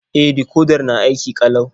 E, dikodar na aiki ƙalau.